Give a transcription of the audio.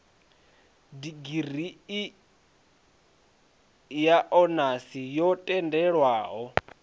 digirii ya onasi yo tendelwaho